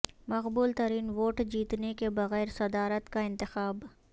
مقبول ترین ووٹ جیتنے کے بغیر صدارت کا انتخاب